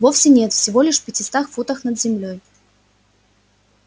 вовсе нет всего лишь в пятистах футах над землёй